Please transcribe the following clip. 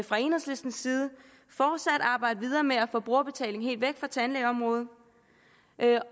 fra enhedslistens side arbejde videre med at få brugerbetaling helt væk fra tandlægeområdet